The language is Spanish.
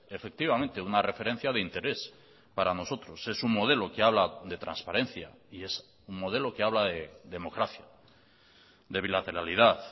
efectivamente una referencia de interés para nosotros es un modelo que habla de transparencia y es un modelo que habla de democracia de bilateralidad